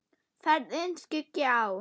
Ferðina skyggi á.